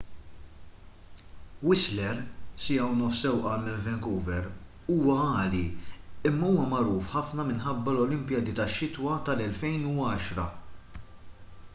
whistler 1.5 siegħa sewqan minn vancouver huwa għali imma huwa magħruf ħafna minħabba l-olimpijadi tax-xitwa tal-2010